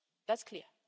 That's clear.